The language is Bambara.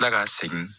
kila ka segin